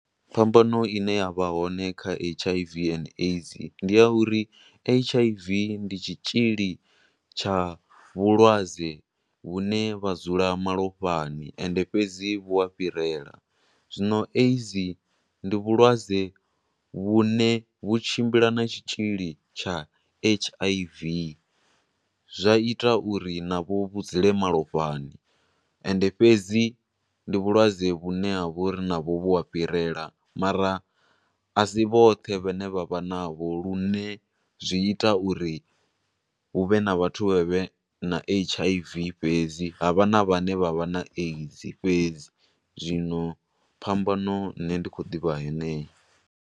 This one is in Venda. Phambano ine ya vha hone kha H_I_V and AIDS ndi yauri H_I_V ndi tshitzhili tsha vhulwadze vhu ne vha dzula malofhani ende fhedzi vhu a fhirela. Zwino AIDS ndi vhulwadze vhune vhu tshimbila na tshitzhili tsha H_I_V, zwa ita uri na vho vhu dzule malofhani, ende fhedzi ndi vhulwadze vhune ha vho ri na vho vhu a fhirela mara a si vhothe vhe ne vha vha na ho lune zwi ita uri huvhe na vhathu vhe vhe na H_I_V fhedzi, ha vha na vha ne vha vha na AIDS fhedzi. Zwino phambano, nne ndi khou ḓivha heneyo.